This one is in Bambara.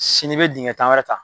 Sini i bɛ dingɛ tan wɛrɛ ta.